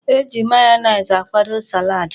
E ji mayonees akwado salaadi.